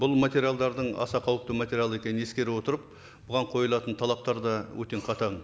бұл материалдардың аса қауіпті материалы екенін ескере отырып бұған қойылатын талаптар да өте қатаң